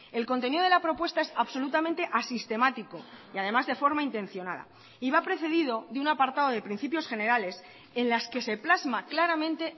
el contenido de la propuesta es absolutamente asistemático y además de forma intencionada y va precedido de un apartado de principios generales en las que se plasma claramente